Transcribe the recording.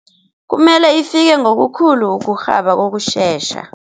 Kumele ifike ngokukhulu ukurhaba kokushesha.